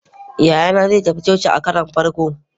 yayana zai tafi coci a karon farko